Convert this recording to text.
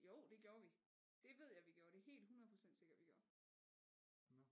Jo det gjorde vi det ved jeg vi gjorde det er helt 100% sikkert vi gjorde